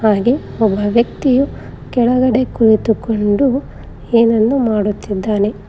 ಒಬ್ಬ ವ್ಯಕ್ತಿಯು ಕೆಳಗಡೆ ಕುಳಿತುಕೊಂಡು ಏನನ್ನು ಮಾಡುತ್ತಿದ್ದಾನೆ.